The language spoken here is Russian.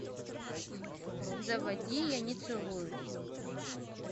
заводи я не целуюсь